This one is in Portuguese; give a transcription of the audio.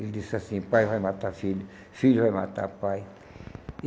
Ele disse assim, pai vai matar filho, filho vai matar pai.